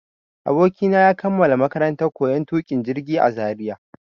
Abokina ya kammala makarantar koyon tuƙin jirgi a Zaria.